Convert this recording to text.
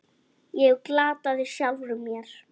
Ég glataði sjálfum mér.